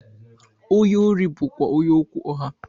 Onye órí bú kwá onye okwu ụgha.